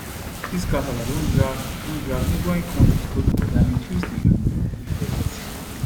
dis kasala don drag don drag neighbouring kontris follow bodi and increase di um effects